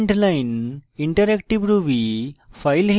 command line interactive ruby